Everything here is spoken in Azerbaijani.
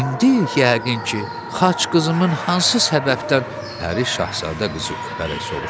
İndi yəqin ki, xac qızımın hansı səbəbdən pəri Şahzadə qızı öpərək soruşdu.